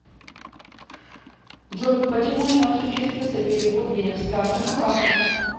джой почему не осуществился перевод денег с карты на карту